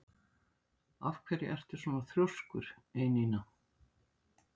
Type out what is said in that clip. Af hverju ertu svona þrjóskur, Einína?